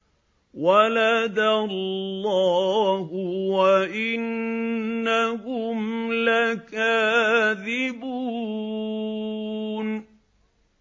وَلَدَ اللَّهُ وَإِنَّهُمْ لَكَاذِبُونَ